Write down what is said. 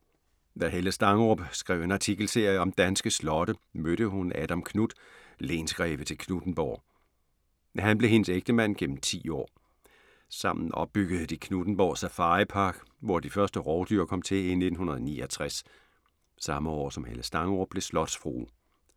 Da Helle Stangerup skrev en artikelserie om danske slotte mødte hun Adam Knuth, lensgreve til Knuthenborg. Han blev hendes ægtemand gennem ti år. Sammen opbyggede de Knuthenborg Safaripark, hvor de første rovdyr kom til i 1969. Samme år, som Helle Stangerup blev slotsfrue.